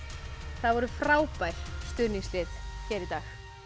það voru frábær stuðningslið hér í dag